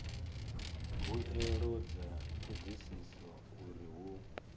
mbuelo dza thodisiso uri hu